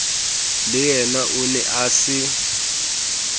leyena o ne a se